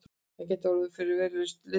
Hann gæti orðið okkur verulegur liðsstyrkur